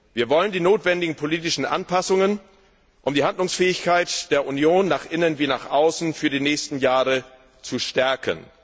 Wir wollen die notwendigen politischen Anpassungen, um die Handlungsfähigkeit der Union nach innen wie nach außen für die nächsten Jahre zu stärken.